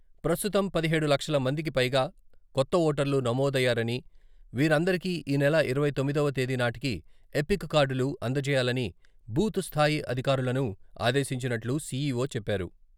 ప్రస్తుతం పదిహెడు లక్షల మందికిపైగా కొత్త ఓటర్లు నమోదయ్యారని, వీరందరికీ ఈ నెల ఇరవై తొమ్మిదవ తేదీ నాటికి ఎపిక్ కార్డులు అందజేయాలని బూత్ స్థాయి అధికారులను ఆదేశించినట్లు సిఈఓ చెప్పారు.